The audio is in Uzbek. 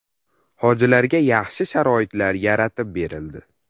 Hojilarga yaxshi sharoitlar yaratib berildi.